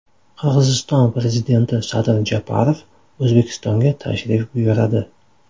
Qirg‘iziston prezidenti Sadir Japarov O‘zbekistonga tashrif buyuradi.